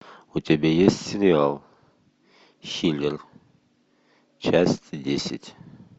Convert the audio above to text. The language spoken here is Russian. у тебя есть сериал хилер часть десять